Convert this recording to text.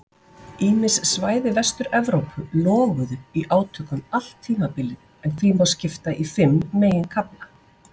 Ýmis svæði Vestur-Evrópu loguðu í átökum allt tímabilið en því má skipta í fimm meginkafla.